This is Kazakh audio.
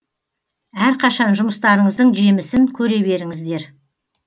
әрқашан жұмыстарыңыздың жемісін көре беріңіздер